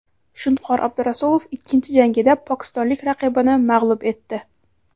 Shunqor Abdurasulov ikkinchi jangida pokistonlik raqibini mag‘lub etdi.